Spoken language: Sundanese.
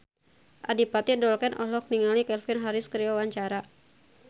Adipati Dolken olohok ningali Calvin Harris keur diwawancara